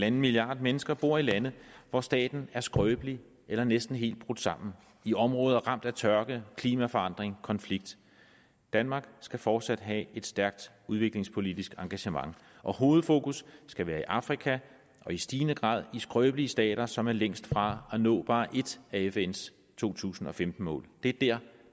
en milliarder mennesker bor i lande hvor staten er skrøbelig eller næsten helt brudt sammen i områder ramt af tørke klimaforandring og konflikt danmark skal fortsat have et stærkt udviklingspolitisk engagement og hovedfokus skal være i afrika og i stigende grad i skrøbelige stater som er længst fra at nå bare ét af fns to tusind og femten mål det er der